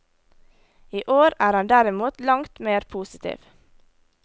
I år er han derimot langt mer positiv.